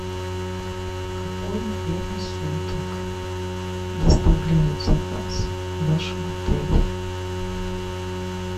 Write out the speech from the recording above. в какое время суток доставляют заказ в вашем отеле